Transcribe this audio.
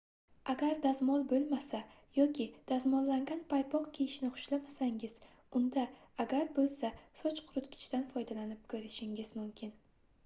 agar dazmol boʻlmasa yoki dazmollangan paypoq kiyishni xushlamasangiz unda agar boʻlsa soch quritgichdan foydalanib koʻrishingiz mumkin